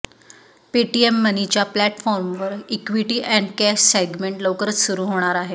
Paytm मनीच्या प्लॅटफॉर्मवर equity आणि कॅश सेगमेंट लवकरच सुरू होणार आहे